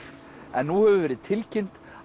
en nú hefur verið tilkynnt